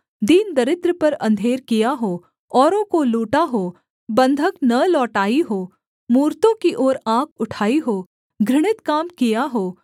दीन दरिद्र पर अंधेर किया हो औरों को लूटा हो बन्धक न लौटाई हो मूरतों की ओर आँख उठाई हो घृणित काम किया हो